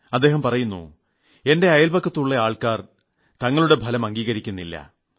അദ്ദേഹം പറയുന്നു എന്റെ അയൽപക്കത്തുളള ആൾക്കാർ ഞങ്ങളുടെ ഫലം അംഗീകരിക്കുന്നില്ല